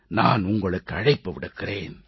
நான் உங்களுக்கு அழைப்பு விடுக்கிறேன்